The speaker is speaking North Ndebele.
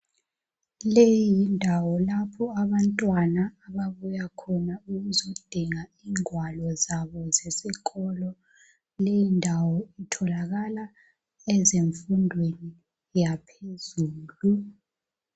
Leyi yindawo lapho abantwana ababuya khona ukuzodinga ingwalo zabo zesikolo. Leyi ndawo itholakala ezemfundweni yaphezulu.